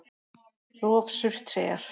Rof Surtseyjar.